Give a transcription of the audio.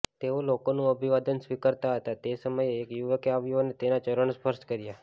તેઓ લોકોનું અભિવાદન સ્વીકારતા હતા તે સમયે એક યુવકે આવ્યો અને તેમના ચરણ સ્પર્શ કર્યા